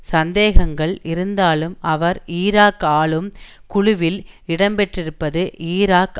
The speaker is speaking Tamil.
சந்தேகங்கள் இருந்தாலும் அவர் ஈராக் ஆளும் குழுவில் இடம்பெற்றிருப்பது ஈராக்